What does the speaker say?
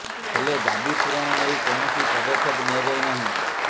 ହେଲେ ଦାବି ପୂରଣ ନେଇ କୌଣସି ପଦକ୍ଷେପ ନିଆଯାଇ ନାହିଁ